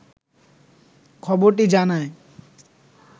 খবরটি জানায়